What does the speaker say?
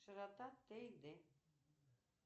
широта т и д